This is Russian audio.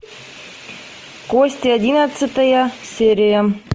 кости одиннадцатая серия